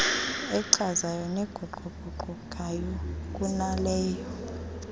echazayo neguquguqukayo kunaleyo